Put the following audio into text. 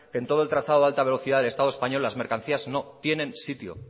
que en todo el trazado de alta velocidad del estado español las mercancías no tienen sitio